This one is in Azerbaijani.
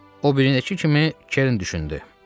O birilər kimi, Kerrin düşündü.